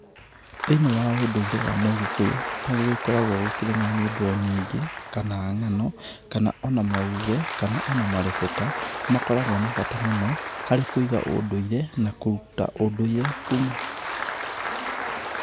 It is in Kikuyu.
Thĩinĩ wa ũndũire wa mũgĩkũyũ, nĩ gũgĩkoragwo gũkĩrĩ na nyĩmbo nyingĩ, kana ng'an,o kana ona mauge, kana ona marebeta, makoragwo na bata mũno harĩ kũiga ũndũire na kũruta ũndũire kuma.